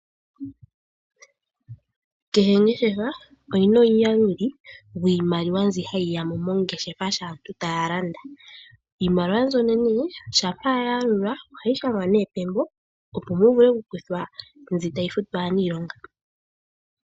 Kehe ongeshefa oyina omuyaluli gwiimaliwa mbyoka hayi yamo mongeshefa sho aantu taya landa. Iimaliwa mbyono ngele aantu taya landa ohayi shangwa pembo opo muvule okukuthwa mbi tayi futwa aaniilonga.